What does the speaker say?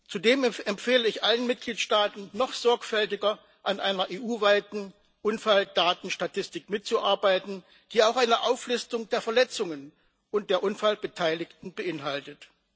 Zudem empfehle ich allen Mitgliedstaaten, noch sorgfältiger an einer EU weiten Unfalldatenstatistik mitzuarbeiten, die auch eine Auflistung der Verletzungen und der Unfallbeteiligten beinhaltet.